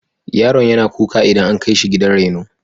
Yaron yana kuka idan an kai shi gidan raino.